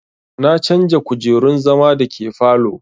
Na canja kujerun zama da ke falow